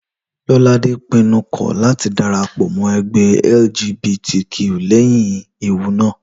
Lọ́ládé pinnu kọ̀ láti dára pọ̀ mọ́ ẹgbẹ́ LGBTQ lẹ́yìn ewu náà